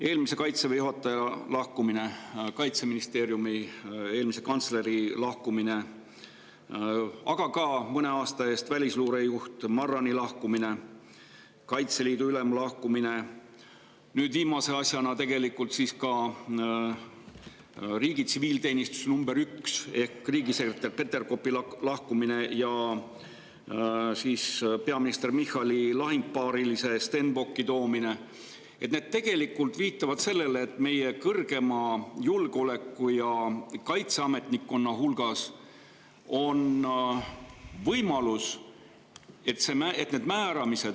Eelmise Kaitseväe juhataja lahkumine, Kaitseministeeriumi eelmise kantsleri lahkumine, aga ka välisluurejuht Marrani lahkumine mõne aasta eest, Kaitseliidu ülema lahkumine, nüüd viimase asjana tegelikult ka riigi tsiviilteenistuse nr 1 ehk riigisekretär Peterkopi lahkumine ja peaminister Michali lahingupaarilise Stenbocki toomine viitavad sellele, et meie kõrgema julgeoleku‑ ja kaitseametnikkonna hulgas on võimalus, et need uued määramised …